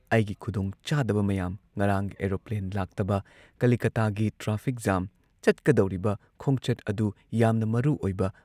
ꯑꯩꯒꯤ ꯈꯨꯗꯣꯡꯆꯥꯗꯕ ꯃꯌꯥꯝ ꯉꯔꯥꯡ ꯑꯦꯔꯣꯄ꯭ꯂꯦꯟ ꯂꯥꯛꯇꯕ, ꯀꯂꯤꯀꯇꯥꯒꯤ ꯇ꯭ꯔꯥꯐꯤꯛ ꯖꯥꯝ, ꯆꯠꯀꯗꯧꯔꯤꯕ ꯈꯣꯡꯆꯠ ꯑꯗꯨ ꯌꯥꯝꯅ ꯃꯔꯨ ꯑꯣꯢꯕ